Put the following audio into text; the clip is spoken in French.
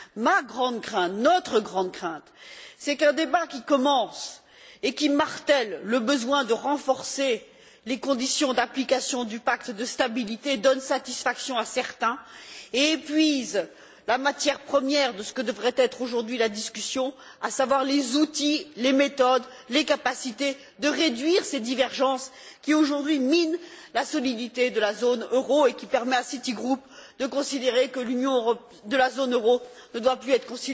Ma grande crainte, notre grande crainte, c'est qu'un débat qui commence en martelant le besoin de renforcer les conditions d'application du pacte de stabilité donne satisfaction à certains et épuise la matière première de ce que devrait être aujourd'hui la discussion, à savoir les outils, les méthodes, les capacités de réduire ces divergences qui, aujourd'hui, minent la solidité de la zone euro et qui permettent à Citygroup de considérer que la zone euro ne doit plus être